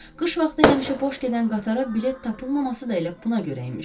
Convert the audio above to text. Qış vaxtı həmişə boş gedən qatara bilet tapılmaması da elə buna görə imiş.